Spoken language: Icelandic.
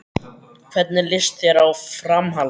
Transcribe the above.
Hvernig líst þér á Framhaldið?